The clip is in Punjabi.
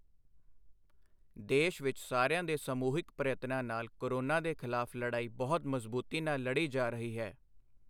ਦੇਸ਼ ਵਿੱਚ ਸਾਰਿਆਂ ਦੇ ਸਮੂਹਿਕ ਪ੍ਰਯਤਨਾਂ ਨਾਲ ਕੋਰੋਨਾ ਦੇ ਖ਼ਿਲਾਫ਼ ਲੜਾਈ ਬਹੁਤ ਮਜ਼ਬੂਤੀ ਨਾਲ ਲੜੀ ਜਾ ਰਹੀ ਹੈ।